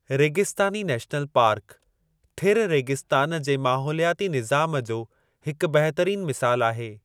रेगिस्तानी national park, थिरु रेगिस्तान जे माहौलियाती निज़ाम जो हिकु बहितरीनु मिसालु आहे।